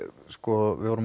vorum